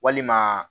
Walima